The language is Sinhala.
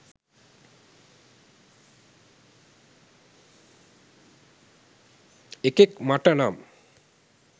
එකෙක් මට නම්